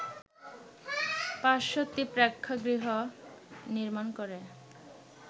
৫০০টি প্রেক্ষাগৃহ নির্মাণ করে